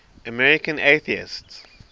american atheists